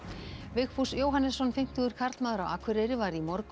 Vigfús Jóhannesson fimmtugur karlmaður á Akureyri var í morgun